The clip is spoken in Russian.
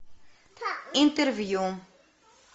интервью